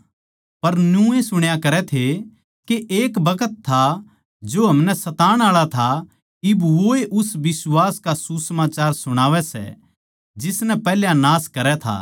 पर न्यूए सुण्या करै थे के एक बखत था जो हमनै सताण आळा था इब वोए उस बिश्वास का सुसमाचार सुणावै सै जिसनै पैहल्या नाश करै था